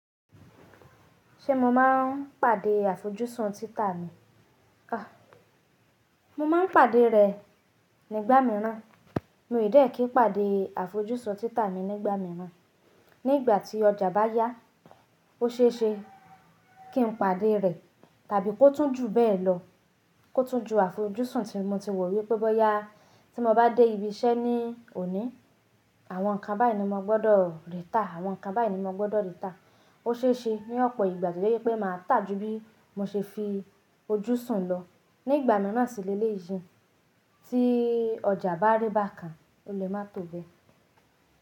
Ṣé mo máa ń pàdé àfojúsùn títà mi? À, mo máa ń pàdé rẹ nígbà mìíràn. Mi ò dẹ́kí pàdé àfojúsùn títà mi nígbà mìíràn. Ní ìgbà tí ọjà bá yá, ó ṣe é ṣe kí n pàdé rẹ. Tàbí kó tún jù bẹ́ẹ̀ lọ, kó tún ju àfojúsùn tí mo ti wò wípé bóyá tí mo bá dé ibi iṣẹ́ ní òní, àwọn nǹkan báyìí ni mo gbọ́dọ̀ rí tà. Àwọn nǹkan báyìí ni mo gbọ́dọ̀ rí tà. Ó ṣe é ṣe ní ọ̀pọ̀ ìgbà tó jẹ́ wí pé màá tà jù bí mo ṣe fi ojú sùn lọ. Nígbà mìíràn sì le lé yi Tí ọjà bá rí bá kàn, o lè má tó bẹ́.